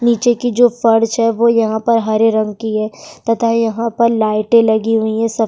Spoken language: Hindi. नीचे की जो फर्च है वो यहाँ पर हरे रंग की है तथा यहाँ पर लाइटें लगी हुई हैं सब --